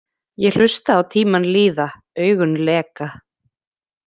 Ég hlusta á tímann líða, augun leka.